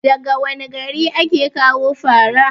daga wane gari ake kawo fara?